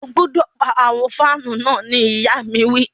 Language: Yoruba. O gbọdọ pa awọn fanu náà ni ìya mi wi.